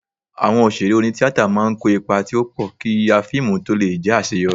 Awọn òṣèré oní-tíatà máa ń kó ipa tí ó pọ̀, kí yíya fíìmù tó lè jẹ́ àṣeyọrí